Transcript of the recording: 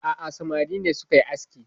A'a samari ne suka yi aski